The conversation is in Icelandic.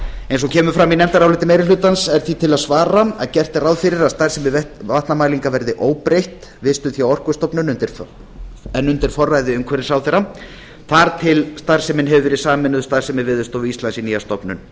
eins og kemur fram í nefndaráliti meiri hlutans er því til að svara að gert er ráð fyrir að starfsemi vatnamælinga verði óbreytt vistuð hjá orkustofnun en undir forræði umhverfisráðherra þar til sú starfsemi hefur verið sameinuð starfsemi veðurstofu íslands í nýja stofnun